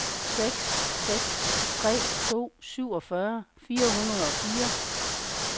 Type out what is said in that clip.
seks seks tre to syvogfyrre fire hundrede og fire